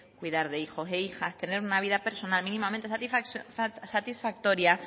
cuidar de hijos e hijas tener una vida personal mínimamente satisfactoria